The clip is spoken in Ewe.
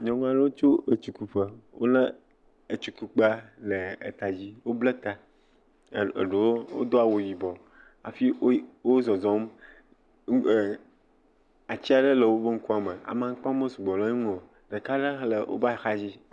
Nyɔnu aɖewo tso etsikuƒe. Wolé etsikukpea le etadzi. Woblɛ ta, eɖewo wodo awu yibɔ hafi wo wozɔzɔm ɛɛ atsi aɖe le wobe ŋkua me. Amaŋkpawo mesɔgbɔ le eŋu o. Ɖeka le hã le wobe ahadzi.